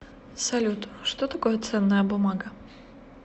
салют что такое ценная бумага